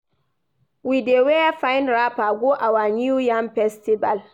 We dey wear fine wrapper go our New Yam Festival.